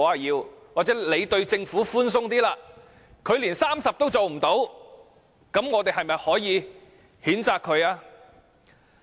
又或許，我們對政府寬鬆一點，但它連30都做不到，是否應予以譴責？